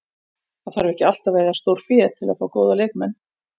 Það þarf ekki alltaf að eyða stórfé til að fá góða leikmenn.